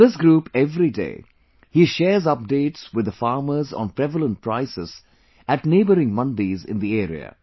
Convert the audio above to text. On this group everyday he shares updates with the farmers on prevalent prices at neighboring Mandis in the area